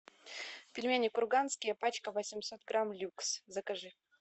пельмени курганские пачка восемьсот грамм люкс закажи